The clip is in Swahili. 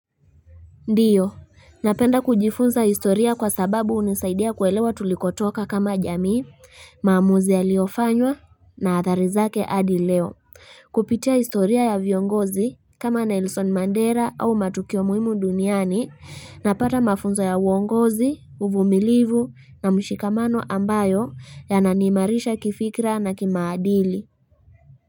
Ndiyo, napenda kujifunza historia kwa sababu hunisaidia kuelewa tulikotoka kama jamii, maamuzi yaliofanywa na athari zake adi leo. Kupitia historia ya viongozi kama Nelson Mandela au matukio muhimu duniani napata mafunzo ya uongozi, uvumilivu na mshikamano ambayo yananimarisha kifikra na kimaadili.